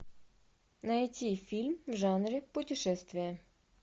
найти фильм в жанре путешествия